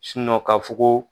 ka fɔ ko